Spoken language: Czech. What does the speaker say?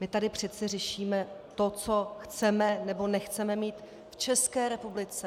My tady přece řešíme to, co chceme nebo nechceme mít v České republice.